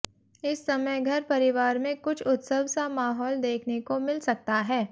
इस समय घर परिवार में कुछ उत्सव सा माहौल देखने को मिल सकता है